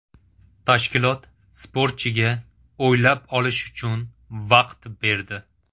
Tashkilot sportchiga o‘ylab olish uchun vaqt berdi.